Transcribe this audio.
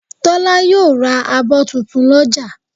Tọ́lá yóò ra abọ́ tuntun lọ́jà